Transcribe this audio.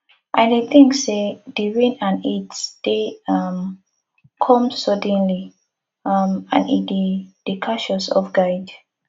i dey think say di rain and heat dey um come suddenly um and e dey dey catch us off guard